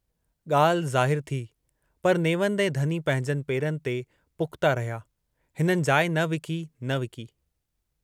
गाल्हि ज़ाहिरु थी पर नेवंद ऐं धनी पंहिंजनि पेरनि ते पुख्ता रहिया, हिननि जाइ न विकी न विकी।